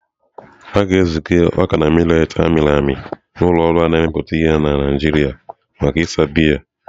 A ga-eziga ọka na mileetị a mịrị amị na ụlọ ọrụ a na-emepụta ihe na Naijiria maka ịsa biya.